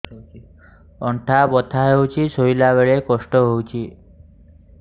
ଅଣ୍ଟା ବଥା ହଉଛି ଶୋଇଲା ବେଳେ କଷ୍ଟ ହଉଛି